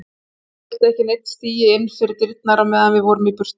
Mamma vildi ekki að neinn stigi inn fyrir dyrnar á meðan við vorum í burtu.